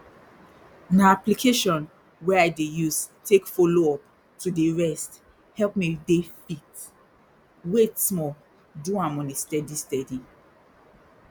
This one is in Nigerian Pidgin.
na application wey i dey use take follow up to dey rest help me dey fit wait small do am on a steady steady